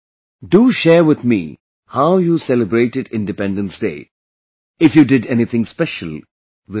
Do share with me how you celebrated Independence Day, if you did anything special, this time